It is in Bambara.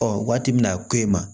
Ɔ waati min na ko e ma